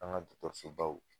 An ga dɔkɔtɔrɔsobaw